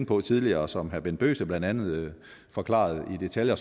på tidligere og som herre bent bøgsted blandt andet forklarede i detaljer